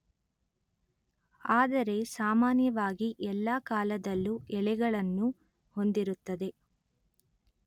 ಆದರೆ ಸಾಮಾನ್ಯವಾಗಿ ಎಲ್ಲ ಕಾಲದಲ್ಲೂ ಎಲೆಗಳನ್ನು ಹೊಂದಿರುತ್ತದೆ